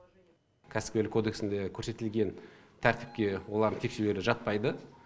кәсіпкерлік кодексінде көрсетілген тәртіпке олардың тексерулері жатпайды